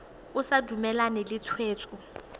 o sa dumalane le tshwetso